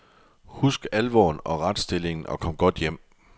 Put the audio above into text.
Husk alvoren og retstillingen og kom godt hjem.